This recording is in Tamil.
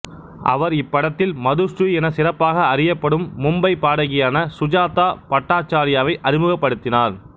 அவர் இப்படத்தில் மதுஸ்ரீ என சிறப்பாக அறியப்படும் மும்பை பாடகியான சுஜாதா பட்டாச்சார்யாவை அறிமுகப்படுத்தினார்